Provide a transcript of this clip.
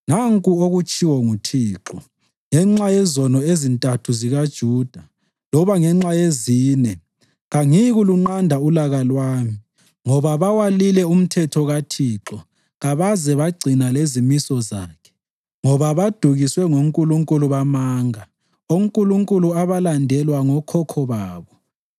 Nanku okutshiwo nguThixo: “Ngenxa yezono ezintathu zikaJuda loba ngenxa yezine, kangiyikulunqanda ulaka lwami, ngoba bawalile umthetho kaThixo kabaze bagcina lezimiso zakhe, ngoba badukiswe ngonkulunkulu bamanga, onkulunkulu abalandelwa ngokhokho babo.